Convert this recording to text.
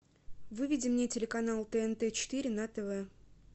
выведи мне телеканал тнт четыре на тв